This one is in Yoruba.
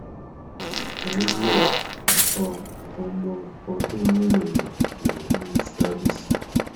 ẹ ǹ lẹ o ọmọ ọdún mẹrin mi ní scabies